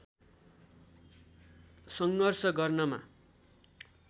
सङ्घर्ष गर्नमा